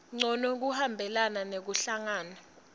ncono kuhambelana nekuhlangana